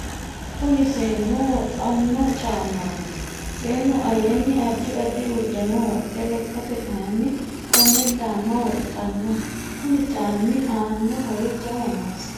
kuni seennu woxanno caamati. seennu aleenni addi addi uddano woxxe lekkate kayinni konne caamma woxxanno. kuni caammi aanno horo jawa noosi.